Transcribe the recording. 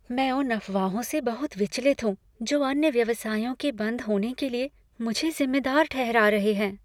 मैं उन अफवाहों से बहुत विचलित हूँ जो अन्य व्यवसायों के बंद होने के लिए मुझे जिम्मेदार ठहरा रहे हैं।